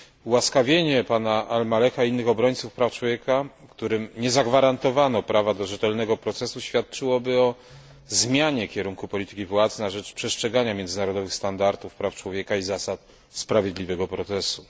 Ułaskawienie pana Al Maleha i innych obrońców praw człowieka, którym nie zagwarantowano prawa do rzetelnego procesu, świadczyłoby o zmianie kierunku polityki władz na rzecz przestrzegania międzynarodowych standardów praw człowieka i zasad sprawiedliwego procesu.